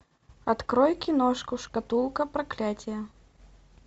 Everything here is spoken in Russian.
открой киношку шкатулка проклятия